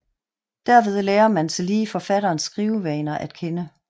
Derved lærer man tillige forfatterens skrivevaner at kende